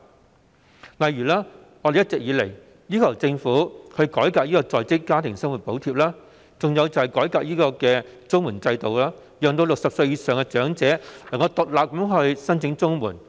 舉例而言，我們一直要求政府改革在職家庭生活補貼和綜援制度，取消"衰仔紙"，讓60歲以上的長者能夠獨立申請綜援。